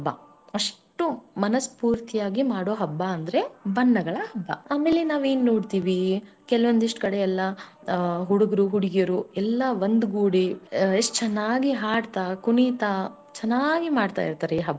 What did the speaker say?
ಹಬ್ಬ ಅಷ್ಟು ಮನಸ್ ಪೂರ್ತಿಯಾಗಿ ಮಾಡೋ ಹಬ್ಬ ಅಂದರೆ ಬಣ್ಣಗಳ ಹಬ್ಬ ಆಮೇಲೆ ನಾವ ಏನ ನೋಡುತ್ತಿವಿ ಕೆಲವೊಂದಿಷ್ಟ್ ಕಡೆ ಎಲ್ಲಾ ಹುಡುಗರು ಹುಡುಗಿಯರು ಎಲ್ಲಾ ಒಂದುಗೂಡಿ ಎಷ್ಟ ಚನ್ನಾಗಿ ಹಾಡತಾ ಕುಣಿತಾ ಚನ್ನಾಗಿ ಮಾಡ್ತಾರೆ ಈ.